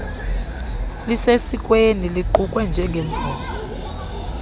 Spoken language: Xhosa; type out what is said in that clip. sesikweni luqukwe njengemvume